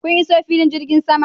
Kun iso filin jirgin sama?